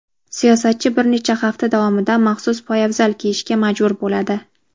siyosatchi bir necha hafta davomida maxsus poyabzal kiyishga majbur bo‘ladi.